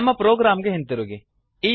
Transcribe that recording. ನಮ್ಮ ಪ್ರೊಗ್ರಾಮ್ ಗೆ ಹಿಂತಿರುಗಿ